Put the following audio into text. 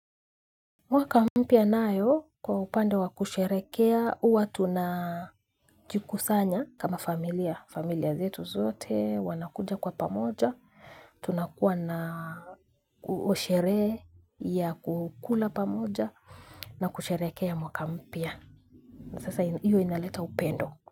Mwaka mpya nao kwa upande wa kusherekea, huwa tuna jikusanya kama familia, familia zetu zote, wanakuja kwa pamoja, tunakuwa na sherehe ya kukula pamoja na kusherekea mwaka mpya. Sasa hiyo inaleta upendo.